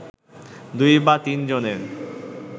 দুই বা তিনজনের